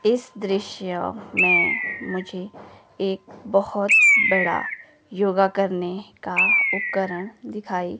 इस दृश्य में मुझे एक बहोत बड़ा योगा करने का उपकरण दिखाई--